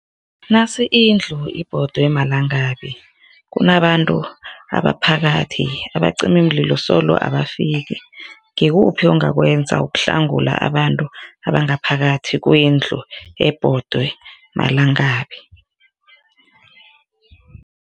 Nasi indlu ibhodwe malangabi, kunabantu ngaphakathi, abacimimlilo solo abafiki, ngikuphi ongakwenza ukuhlangula abantu abangaphakathi kwendlu ebhodwe malangabi?